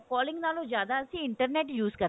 calling ਨਾਲੋ ਜਿਆਦਾ ਅਸੀਂ internet use ਕਰਦੇ ਹਾਂ